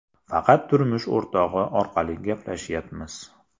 Faqat turmush o‘rtog‘i orqali gaplashyapmiz.